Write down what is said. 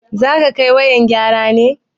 Zaka kai wayan gyara ne?